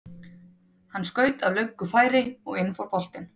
Hann skaut af löngu færi og inn fór boltinn.